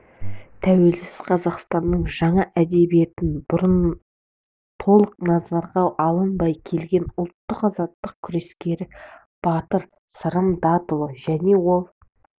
тәуелсіз қазақстанның жаңа әдебиетін бұрын толық назарға алынбай келген ұлттық-азаттық күрескері батыр сырым датұлы және ол